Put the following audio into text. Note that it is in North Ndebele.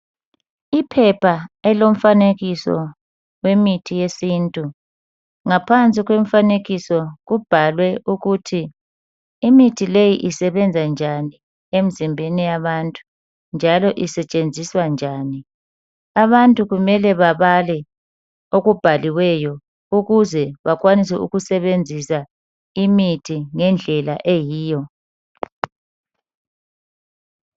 Iphepha elilomfanekiso wemithi yesintu ngaphansi kwemfanekiso kubhalwe ukuthi imithi leyi isebenza njani emzimbeni yabantu njalo isetshenziswa njani. Abantu kumele babale okubhaliweyo ukuze bakwanise ukusebenzisa imithi ngendlela eyiyo.